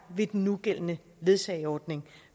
ved den nugældende ledsageordning